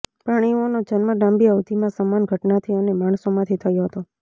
પ્રાણીઓનો જન્મ લાંબી અવધિમાં સમાન ઘટનાથી અને માણસોમાંથી થયો હતો